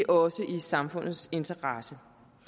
også i samfundets interesse